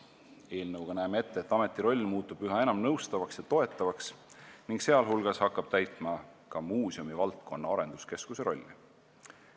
Eelnõuga näeme ette, et ameti roll muutub üha enam nõustavaks ja toetavaks ning ta hakkab täitma ka muuseumivaldkonna arenduskeskuse rolli.